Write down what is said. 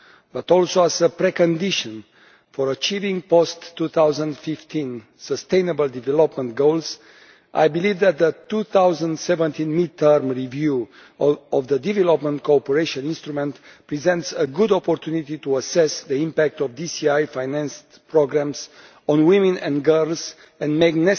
but also as a precondition for achieving the post 2015 Sustainable Development Goals, I believe that the 2017 mid term review of the Development Cooperation Instrument presents a good opportunity to assess the impact of DCI financed programmes on women and girls and make